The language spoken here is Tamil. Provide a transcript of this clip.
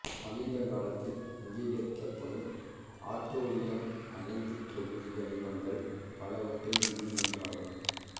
சமீப காலத்தில் அங்கீகரிக்கப்படும் ஆட்ரூரியம் அணைவுத் தொகுதி கனிமங்கள் பலவற்றில் இதுவும் ஒன்றாகும்